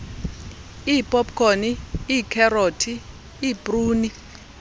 iipopkhoni iikherothi iipruni